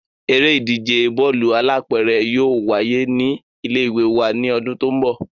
Eré ìdíje Bọ́ọ̀lù alápẹ̀rẹ̀ yóò wáyé ní ilé ìwé wa ní ọdún tó ń bọ̀